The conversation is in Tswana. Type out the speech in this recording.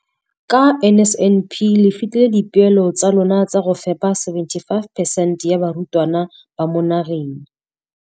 Ka NSNP le fetile dipeelo tsa lona tsa go fepa masome a supa le botlhano a diperesente ya barutwana ba mo nageng.